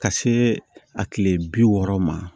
Ka see a kile bi wɔɔrɔ ma